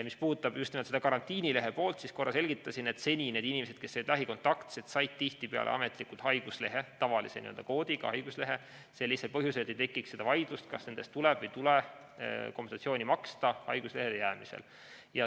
Mis puudutab just nimelt seda karantiinilehe poolt, siis korra selgitasin, et seni need inimesed, kes olid lähikontaktsed, said tihtipeale ametlikult haiguslehe, tavalise koodiga haiguslehe põhjusel, et ei tekiks vaidlust, kas nende eest tuleb või ei tule haiguslehele jäämise korral kompensatsiooni maksta.